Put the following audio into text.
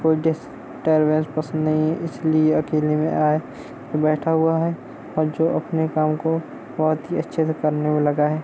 को डिस्टरबेंस पसंद नहीं है इसलिये अकेले में आए के बैठा हुआ है और जो अपने काम को बहुत ही अच्छे से करने में लगा हुआ है।